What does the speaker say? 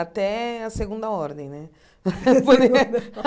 Até a segunda ordem, né?